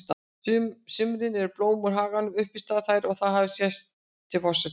sumrin eru blóm úr haganum uppistaðan í þær og það hefur sést til forseta